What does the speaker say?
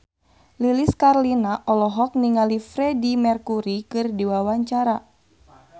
Lilis Karlina olohok ningali Freedie Mercury keur diwawancara